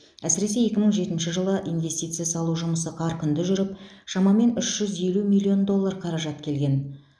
әсіресе екі мың жетінші жылы инвестиция салу жұмысы қарқынды жүріп шамамен үш жүз елу миллион доллар қаражат келген